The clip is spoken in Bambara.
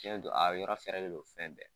Tiɲɛ don a yɔrɔ fɛrɛlen don fɛn bɛɛ